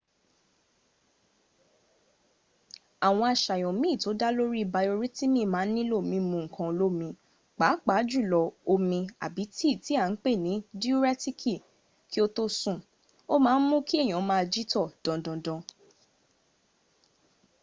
àwọn àṣàyàn mín tó dá lóri bayoritimi ma n nílo mimu nkan olomi pápá jùlọ omi àbi tí tí a n pè ní diuretiki ki o tó sùn o ma n mú kí èyàn maa jítọ̀ dandandan